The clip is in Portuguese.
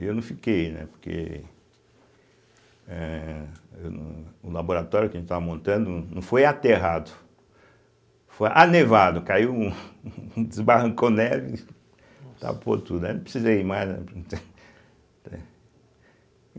E eu não fiquei, né, porque eh, o laboratório que a gente estava montando não foi aterrado, foi anevado, caiu, um um desbarrancou neve, tapou tudo, aí não precisei ir mais, né.